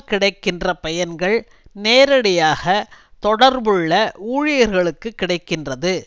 கிடைக்கின்ற பயன்கள் நேரடியாக தொடர்புள்ள ஊழியர்களுக்கு கிடை கின்றது